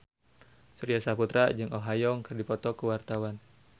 Surya Saputra jeung Oh Ha Young keur dipoto ku wartawan